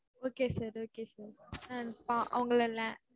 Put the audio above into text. okay sir okay sir